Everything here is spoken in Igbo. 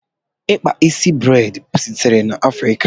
Ikpa isi breid sitere na Afrika.